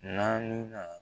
Naaninan